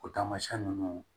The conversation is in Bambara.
O taamasiyɛn ninnu